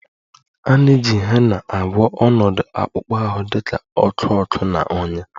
A na-eji Hena agwọ ọnọdụ akpụkpọ ahụ dị ka ọkụ ọkụ na ọnyá